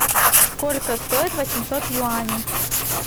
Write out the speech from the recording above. сколько стоит восемьсот юаней